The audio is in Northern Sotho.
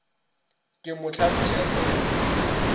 ke mo hlapiša ke mo